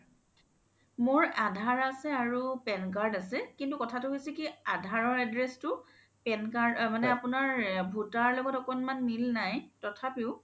মোৰ aadhar আছে আৰু PAN card আছে কিন্তু কথা তো হৈছে কি aadhar ৰ address তো মানে আপোনাৰ voter লগত অলপ মিল নাই তথাপিও